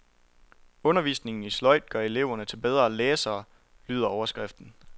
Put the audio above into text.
Undervisning i sløjd gør eleverne til bedre læsere, lyder overskriften.